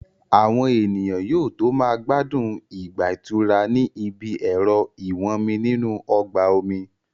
Àwọn ènìyàn yóò tó máa gbádùn ìgbà ìtura ní ibi ẹ̀rọ ìwọ́nmi nínú ọgbà omi